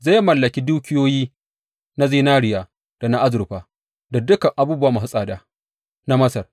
Zai mallaki dukiyoyi na zinariya, da na azurfa, da dukan abubuwa masu tsada na Masar.